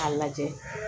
K'a lajɛ